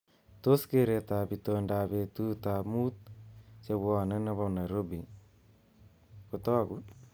Tos keretab itondoab betutab mutu chebone nebo Nairobi kotoku